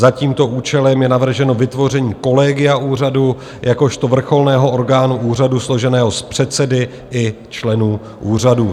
Za tímto účelem je navrženo vytvoření kolegia úřadu jakožto vrcholného orgánu úřadu složeného z předsedy i členů úřadu.